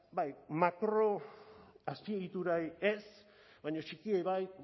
bai makroazpiegiturak ez baina txikiei bai